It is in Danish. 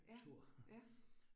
Ja, ja